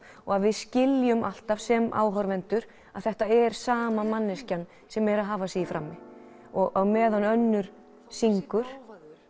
og að við skiljum alltaf sem áhorfendur að þetta er sama manneskjan sem er að hafa sig í frammi og á meðan önnur syngur